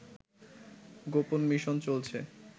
গোপন মিশন চলছে